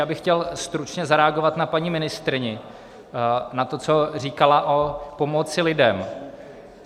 Já bych chtěl stručně zareagovat na paní ministryni, na to, co říkala o pomoci lidem.